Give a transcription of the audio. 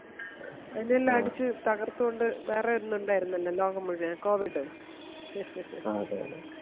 അതെല്ലാം അടിച്ച് തകർത്തുകൊണ്ട് വേറെയൊരെണ്ണം ഉണ്ടാരുന്നല്ലോ ലോകം മുഴുവൻ Covid